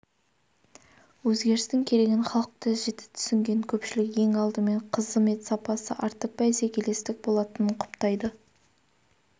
өзгерістің керегін халық та жіті түсінген көпшілік ең алдымен қызмет сапасы артып бәсекелестік болатынын құптайды